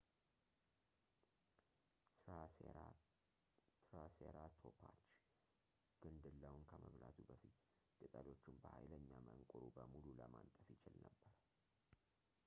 ትራሴራቶፖች ግንድላውን ከመብላቱ በፊት ቅጠሎቹን በኃይለኛ መንቁሩ በሙሉ ለማንጠፍ ይችል ነበር